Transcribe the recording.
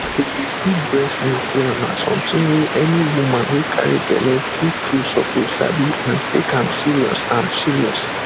to dey keep breast milk well na something wey any woman wey carry belle true true suppose sabi and take am serious am serious